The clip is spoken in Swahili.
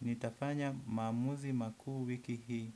Nitafanya maamuzi makuu wiki hii.